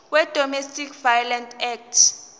wedomestic violence act